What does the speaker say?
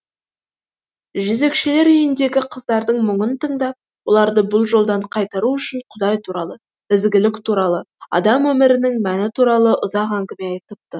жезөкшелер үйіндегі қыздардың мұңын тыңдап оларды бұл жолдан қайтару үшін құдай туралы ізгілік туралы адам өмірінің мәні туралы ұзақ әңгіме айтыпты